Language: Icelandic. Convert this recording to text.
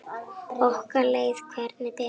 Okkur leið hvergi betur.